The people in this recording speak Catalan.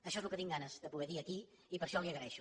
això és el que tinc ganes de poder dir aquí i per això li ho agraeixo